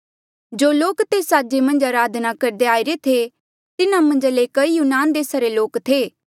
जो लोक तेस साजे मन्झ अराधना करदे आईरे थे तिन्हा मन्झा ले कई यूनान देसा रे लोक थे